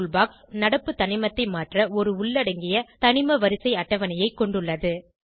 tool box நடப்பு தனிமத்தை மாற்ற ஒரு உள்ளடங்கிய தனிமவரிசை அட்டவணையைக் கொண்டுள்ளது